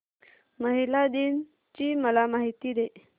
महिला दिन ची मला माहिती दे